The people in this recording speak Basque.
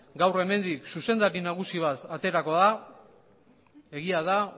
gaur hemendik zuzendari nagusi bat aterako da egia da